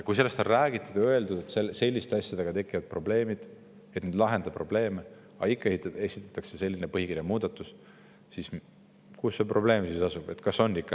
Kui sellest on räägitud ja öeldud, et selliste asjadega tekivad probleemid, need ei lahenda probleeme, aga ikka esitatakse selline põhikirja muudatus, siis kus see probleem asub?